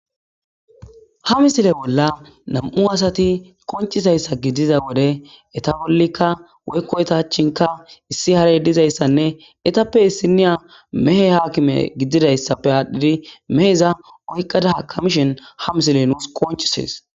ha misile bolla nam7u asati qonchizayssa giiza wode eta bollikka woykko eta achinka issi hare dizayssanne etappe issiniya mehe haakime gididayssappe aadhdhidi meheza oykqada hakamishen ha misile nusi konchises.